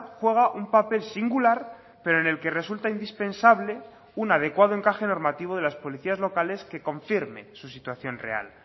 juega un papel singular pero en el que resulta indispensable un adecuado encaje normativo de las policías locales que confirme su situación real